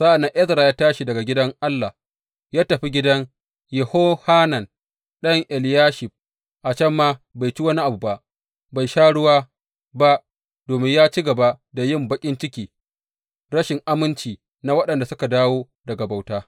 Sa’an nan Ezra ya tashi daga gidan Allah ya tafi gidan Yehohanan ɗan Eliyashib, a can ma bai ci wani abu ba, bai sha ruwa ba domin ya ci gaba da yin baƙin cikin rashin aminci na waɗanda suka dawo daga bauta.